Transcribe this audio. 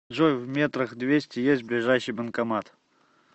джой в метрах двести есть ближайший банкомат